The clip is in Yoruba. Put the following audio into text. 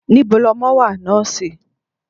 Níbo lọmọ wà, nọ́ọ́sì?